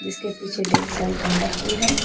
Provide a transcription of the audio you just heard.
उसके पीछे ढेर सारी गेंदा फूल है।